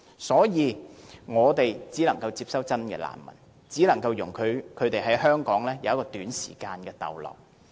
所以，我們只能夠接收真正的難民，而且只能容許他們在香港短時間逗留。